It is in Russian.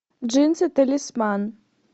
джинсы талисман